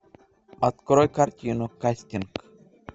открой картину кастинг